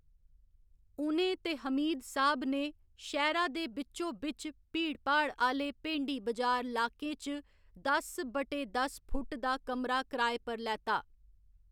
उ'नें ते हमीद साह्‌‌ब ने शैह्‌रा दे बिच्चो बिच्च भीड़ भाड़ आह्‌‌‌ले भेंडी बजार लाकें च दस बटे दस फुट्ट दा कमरा किराए पर लैता।